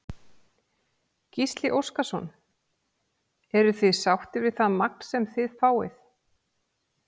Gísli Óskarsson: Eruð þið sáttir við það magn sem þið fáið?